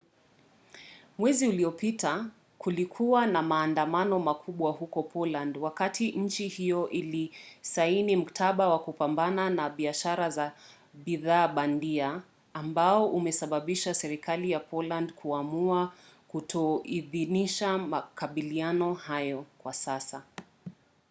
mwezi uliopita kulikuwa na maandamano makubwa huko poland wakati nchi hiyo ilisaini mkataba wa kupambana na biashara za bidhaa bandia ambao umesababisha serikali ya polandi kuamua kutoidhinisha makubaliano hayo kwa sasa